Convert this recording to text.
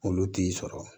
Olu t'i sɔrɔ